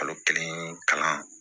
Kalo kelen kalan